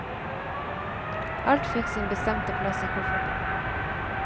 Alt fikk sin bestemte plass i kofferten.